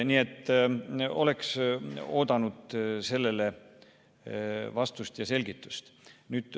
Nii et oleks oodanud sellele vastust ja selgitust.